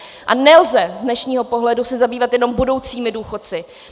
A nelze z dnešního pohledu se zabývat jenom budoucími důchodci.